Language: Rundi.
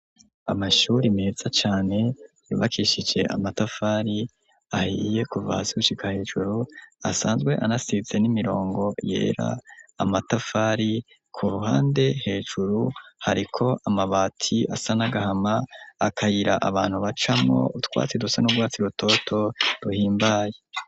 Amashure meza cane yubakishije amatafari ahiye kuva hasi gushika hejuru asanzwe anasize n'imirongo yera amatafari ku ruhande hejuru hariko amabati asa n'agahama akayira abantu bacamo utwatsi dusa n'urwatsi rutoto duhimbaye.